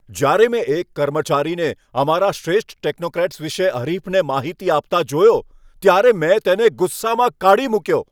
જ્યારે મેં એક કર્મચારીને અમારા શ્રેષ્ઠ ટેકનોક્રેટ્સ વિશે હરીફને માહિતી આપતા જોયો ત્યારે મેં તેને ગુસ્સામાં કાઢી મૂક્યો.